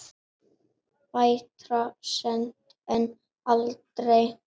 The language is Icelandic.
Betra seint en aldrei.